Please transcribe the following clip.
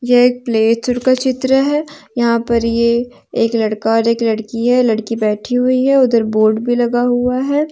यह प्ले चर का चित्र है यहां पर यह एक लड़का और एक लड़की है लड़की बैठी हुई है उधर बोर्ड भी लगा हुआ है।